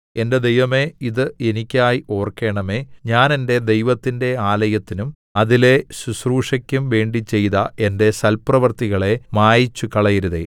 എന്റെ ദൈവമേ ഇത് എനിക്കായി ഓർക്കേണമേ ഞാൻ എന്റെ ദൈവത്തിന്റെ ആലയത്തിനും അതിലെ ശുശ്രൂഷയ്ക്കും വേണ്ടി ചെയ്ത എന്റെ സൽപ്രവൃത്തികളെ മായിച്ചുകളയരുതേ